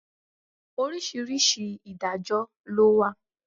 Oríṣiríṣi Ìdájọ́ lọ wà.